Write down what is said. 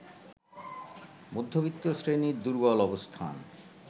মধ্যবিত্ত শ্রেণীর দুর্বল অবস্থান